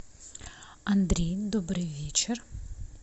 андрей добрый вечер